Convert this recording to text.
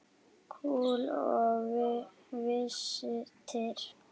Kol og vistir.